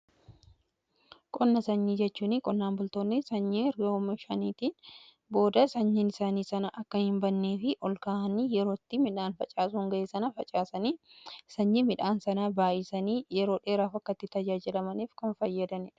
qonna sanyii jechuun qonnaan bultoonni sanyii oomishaniitiin booda sanyiin isaanii sana akka hin bannee fi ol kaa'anii yerootti midhaan facaasuun ga'ee sana facaasanii sanyii midhaan sanaa baa'isanii yeroo dheeraaf akkatti tajaajilamaniif kan fayyadan